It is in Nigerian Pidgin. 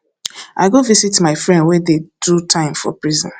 i go visit my friend wey dey do time for prison